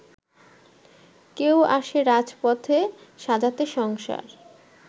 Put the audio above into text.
কেউ আসে রাজপথে সাজাতে সংসার